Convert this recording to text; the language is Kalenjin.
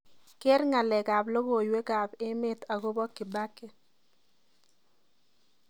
Keer ngalekab logoywekab emet agoba kibaki